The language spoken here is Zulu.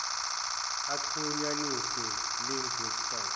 axhunyanisiwe linked websites